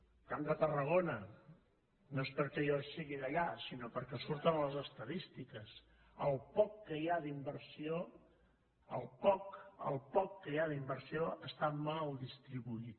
del camp de tarragona no és perquè jo sigui d’allà sinó perquè surt en les estadístiques el poc que hi ha d’inversió el poc que hi ha d’inversió està mal distribuït